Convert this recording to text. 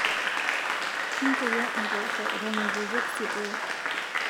intoyio imposhoo eton itu impik sitoo